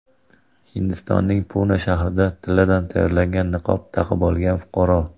Hindistonning Puna shahrida tilladan tayyorlangan niqob taqib olgan fuqaro.